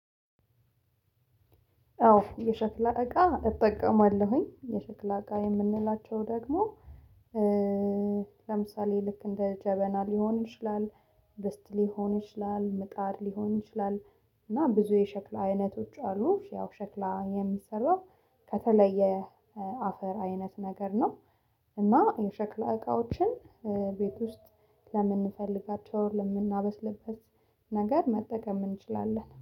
አዎ የሸክላ እቃ እጠቀማለሁኝ የሸክላ እቃ የምንላቸው ደግሞ ለምሳሌ ልክ እንደ ጀበና ሊሆን ይችላል ድስት ሊሆን ይችላል ምጣድ ሊሆን ይችላል። እና ብዙ የሸክላ አይነቶች አሉ ያው ሸክላ የሚሰራው ከተለየ አፈር አይነት ነገር ነው። እና የሸክላ እቃዎችን ቤት ውስጥ ለምንፈልጋቸው እንደምናበስልበት ነገር መጠቀም እንችላለን